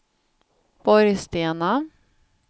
Borgstena